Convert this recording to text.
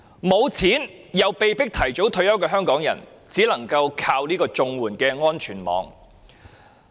沒有錢而又被迫提早退休的香港人，只能依靠綜援這個安全網。